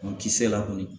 Kisɛ la kɔni